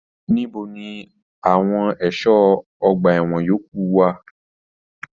Níbo ní àwọn ẹṣọ ọgbà ẹwọn yòókù wà?